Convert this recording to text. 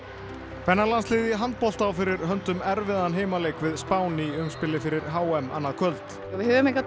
kvennalandsliðið í handbolta á fyrir höndum erfiðan heimaleik við Spán í fyrir h m annað kvöld